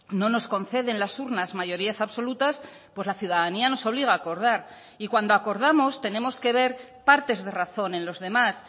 no nos concede en las urnas mayorías absolutas pues la ciudadanía nos obliga a acordar y cuando acordamos tenemos que ver partes de razón en los demás